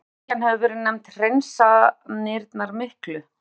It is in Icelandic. Síðari bylgjan hefur verið nefnd Hreinsanirnar miklu.